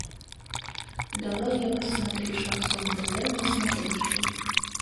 давай я посмотрю шансон тв на смотрешке